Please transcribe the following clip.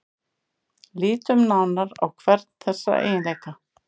Lítum nánar á hvern þessara eiginleika.